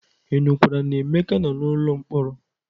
Ị nụkwara na Emeka nọ n'ụlọ mkpọrọ?